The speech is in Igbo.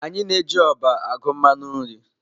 Anyị na-eji ọba agụ mmanụ nri.